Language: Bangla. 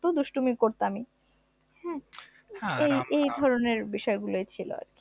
দুষ্টুমি করতামই, এই ধরনের বিষয়গুলো ছিল এই আর কি